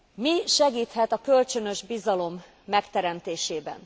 Mi segíthet a kölcsönös bizalom megteremtésében?